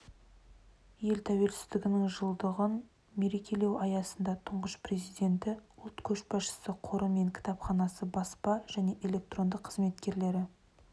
ел тәуелсіздігінің жылдығын мерекелеу аясында тұңғыш президенті ұлт көшбасшысы қоры мен кітапханасы баспа және электронды қызметкерлері